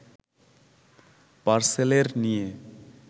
পার্সেলের নিয়ে